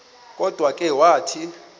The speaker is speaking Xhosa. kodwa ke wathi